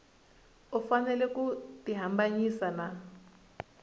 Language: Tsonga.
u fanele ku tihambanyisa na